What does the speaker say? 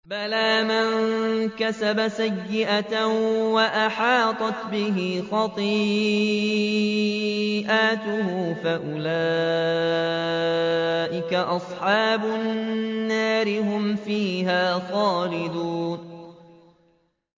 بَلَىٰ مَن كَسَبَ سَيِّئَةً وَأَحَاطَتْ بِهِ خَطِيئَتُهُ فَأُولَٰئِكَ أَصْحَابُ النَّارِ ۖ هُمْ فِيهَا خَالِدُونَ